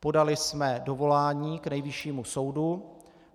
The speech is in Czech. Podali jsme dovolání k Nejvyššímu soudu.